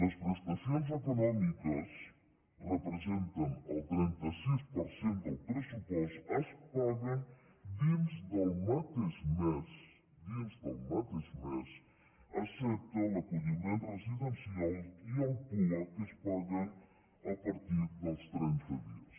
les prestacions econòmiques que representen el trenta sis per cent del pressupost es paguen dins del mateix mes dins del mateix mes excepte l’acolliment residencial i el pua que es paguen a partir dels trenta dies